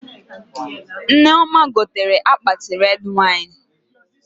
Nneoma gotere akpati red wine